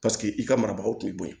Paseke i ka marabagaw tun bɛ bo ye